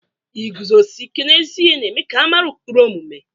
Iguzosi ike n'ezi ihe na-eme ka a mara ụkpụrụ omume.